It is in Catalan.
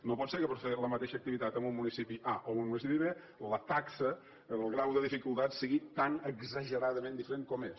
no pot ser que per fer la mateixa activitat en un municipi a o en un municipi b la taxa el grau de dificultat sigui tan exageradament diferent com és